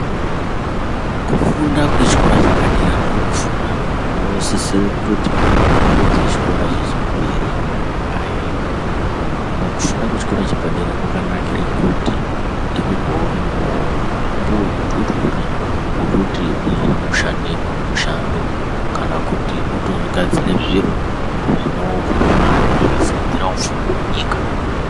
Kufunda kwechikora chepadera ndokufunda kunosisire kutoti munthu eipedza chikora chechipiri aende hino kufunda kwechikora chepadera kwakanakire kuti ndiko kweunopuwe utwotwori wekuti uzoone kushanda mushando kana kuti utozogadzire zviro zvinokupe mare zveizowedzera upfumi hwenyika.